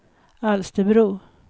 Alsterbro